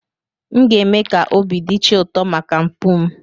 M ga-eme ka obi dị chi ụtọ maka mpụ m.